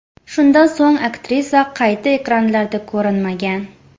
Shundan so‘ng aktrisa qayta ekranlarda ko‘rinmagan.